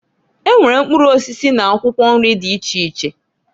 E nwere mkpụrụ osisi n'akwụkwọ nri dị iche iche.